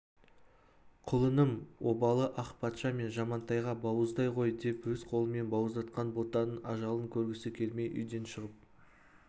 құлыным обалы ақ патша мен жамантайға бауыздай ғой деп өз қолымен бауыздатқан ботаның ажалын көргісі келмей үйден шығып